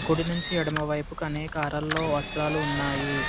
కూడి నుంచి ఎడమవైపు కనేకారాల్లో వస్త్రాలు ఉన్నాయి.